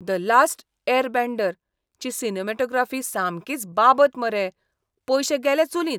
"The last airbender" ची cinematography सामकीच बाबत मरे, पयशे गेले चुलींत!